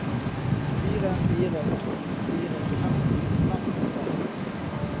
fire fire to fire femti fem hundre og atten